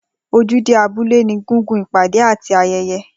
Ojúde abúlé ní gùngun ipade àti ayẹyẹ